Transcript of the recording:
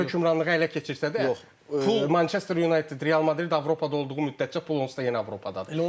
Nə qədər hökmranlığı ələ keçirsə də, pul Manchester United, Real Madrid Avropada olduğu müddətcə pul onsuz da yenə Avropadadır.